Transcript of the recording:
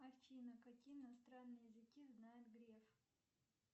афина какие иностранные языки знает греф